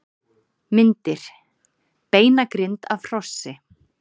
Myndir: Beinagrind af hrossi.